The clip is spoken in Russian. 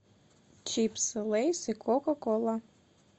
чипсы лейс и кока кола